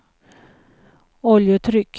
oljetryck